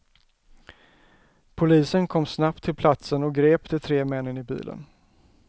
Polisen kom snabbt till platsen och grep de tre männen i bilen.